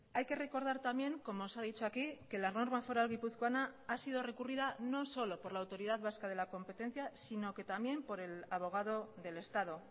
hay que recordar también como se ha dicho aquí que la norma foral guipuzcoana ha sido recurrida no solo por la autoridad vasca de la competencia sino que también por el abogado del estado